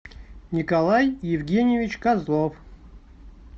николай евгеньевич козлов